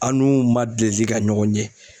An n'u man deli ka ɲɔgɔn ɲe.